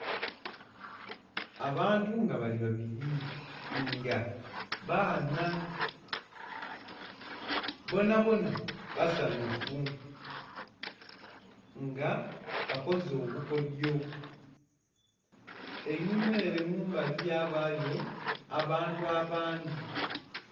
Abantu nga bali babiri nga baana, bonabona basanhufu nga bakoze obukodhyo einhuma ere mumbali ghabayo abantu abandhi.